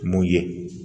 Mun ye